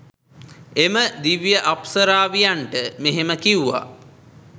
එම දිව්‍ය අප්සරාවියන්ට මෙහෙම කිව්වා.